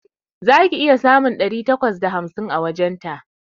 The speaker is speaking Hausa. Za ki iya samun ɗari takwas da hamsin a wajenta